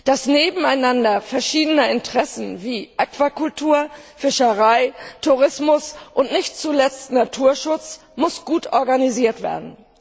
Das Nebeneinander verschiedener Interessen wie Aquakultur, Fischerei, Tourismus und nicht zuletzt Naturschutz muss gut organisiert werden.